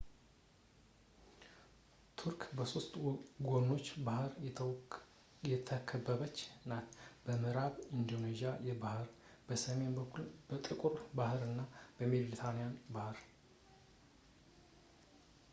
ቱርክ በሶስት ጎኖች በባህር የተከበበች ናት-በምእራብ የኤጂያን ባህር ፣ በሰሜን በኩል ጥቁር ባህር እና በሜድትራንያን ባህር